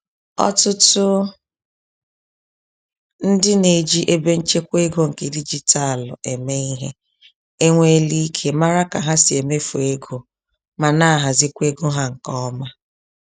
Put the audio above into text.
Ọtụtụ ndị neji ebenchekwa ego nke dijitalụ eme ìhè, enwela íke màrà ka ha si emefu ego, ma nahazikwa égo ha nke ọma.